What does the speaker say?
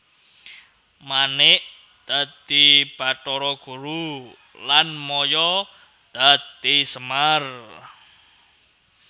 Manik dadi Bathara Guru lan Maya dadi Semar